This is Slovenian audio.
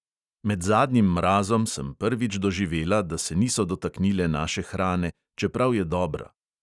Med zadnjim mrazom sem prvič doživela, da se niso dotaknile naše hrane, čeprav je dobra.